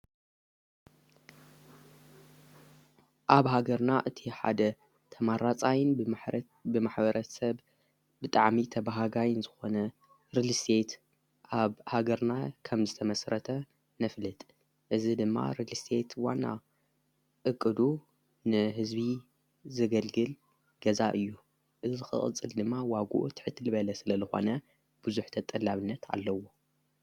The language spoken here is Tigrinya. ኣብ ሃገርና እቲ ሓደ ተማራፃይን ማረት ብማኅበረት ሰብ ብጣዓሚ ተብሃጋይን ዝኾነ ርሊሴት ኣብ ሃገርና ከም ዝተመሥረተ ነፍልጥ እዝ ድማ ሬሊሴት ዋና እቕዱ ንሕዝቢ ዘገልግል ገዛ እዩ እዝ ኽቕጽል ድማ ዋጕኡ ትሕትል በለ ስለ ልኾነ ብዙኅ ተጠላብነት ኣለዎ።